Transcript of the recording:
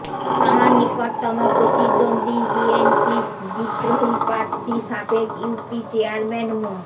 তাঁর নিকটতম প্রতিদ্বন্দ্বী বিএনপির বিদ্রোহী প্রার্থী সাবেক ইউপি চেয়ারম্যান মো